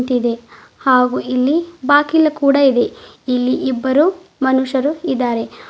ಇದೆ ಹಾಗು ಇಲ್ಲಿ ಬಾಗಿಲು ಕೂಡ ಇದೆ ಇಲ್ಲಿ ಇಬ್ಬರು ಮನುಷ್ಯರು ಇದ್ದಾರೆ.